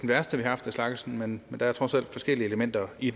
værste vi har haft af slagsen men der er trods alt forskellige elementer i